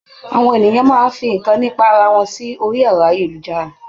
Àwọn ènìyàn máa fi nǹkan nípa ara wọn sí orí ẹ̀rọ-ayélujára.